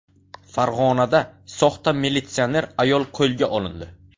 Farg‘onada soxta militsioner ayol qo‘lga olindi.